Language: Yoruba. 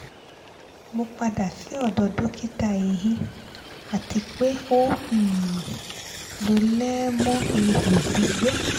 mo pada si ọdọ dokita ehin ati pe o um lo lẹẹmọ iho gbigbẹ